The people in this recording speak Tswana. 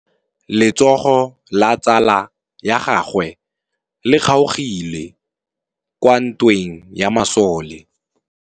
Letsôgô la tsala ya gagwe le kgaogile kwa ntweng ya masole.